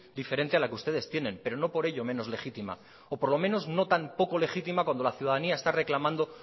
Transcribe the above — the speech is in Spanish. diferente a la que ustedes tienen pero no por ello menos legítima o por lo menos no tan poco legítima cuando la ciudadanía está reclamando